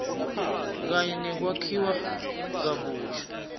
kanye nekwakhiwa kabusha